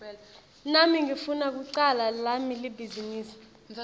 nami ngifuna kucala lami libhizinisi